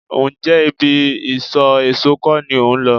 Ǹjẹ́ ibi isọ̀ èso kọ́ ni ò ń lọ?